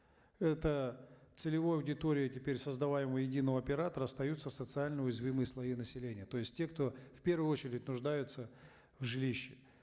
это целевой аудиторией теперь создаваемого оператора остаются социально уязвимые слои населения то есть те кто в первую очередь нуждается в жилище